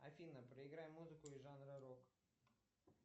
афина проиграй музыку из жанра рок